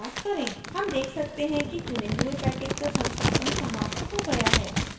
हम देख सकते हैं कि चुने हुए package का संस्थापन समाप्त हो गया है